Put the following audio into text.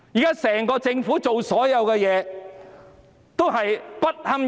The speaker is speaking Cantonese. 現時整個政府所做的事，全部都不堪入目。